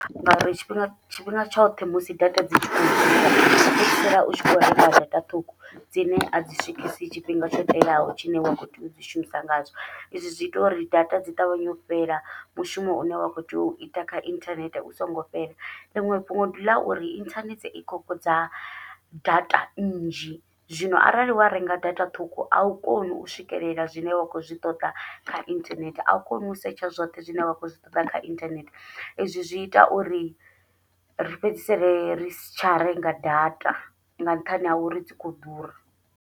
Ngauri tshifhinga tshifhinga tshoṱhe musi data dzi fhedzisela u tshi kho renga data ṱhukhu, dzine a dzi swikisi tshifhinga tsho teaho tshine wa kho tea udzi shumisa ngatsho, izwi zwi ita uri data dzi ṱavhanye u fhela mushumo une wa kho tea uita kha inthanethe u songo fhela, ḽiṅwe fhungo ndi ḽa uri inthanethe i khokhodza data nnzhi. Zwino arali wa renga data ṱhukhu au koni u swikelela zwine wa khou zwi ṱoḓa kha inthanethe, au koni u setsha zwoṱhe zwine wa khou zwi ṱoḓa kha inthanethe izwi zwi ita uri ri fhedzisele ri si tsha renga data nga nṱhani ha uri dzi khou ḓura.